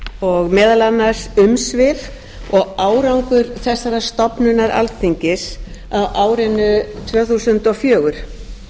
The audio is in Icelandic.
og meðal annars umsvif og árangur þessarar stofnunar alþingis á árinu tvö þúsund og fjögur